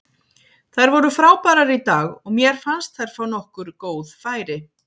Þær voru frábærar í dag og mér fannst þær fá nokkur góð færi.